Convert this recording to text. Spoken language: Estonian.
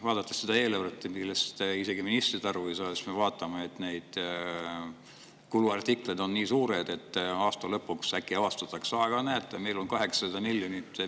Vaadates seda eelarvet, millest isegi ministrid aru ei saa, me, et kuluartiklid on nii suured, et aasta lõpus äkki avastatakse: "Näete, meil on 800 miljonit!